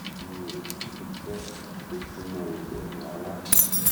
mi ò kì í fẹ kó súnmọ ibẹ rárá